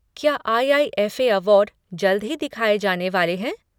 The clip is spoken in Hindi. क्या आई.आई.एफ.ए. अवार्ड जल्द ही दिखाए जाने वाले हैं?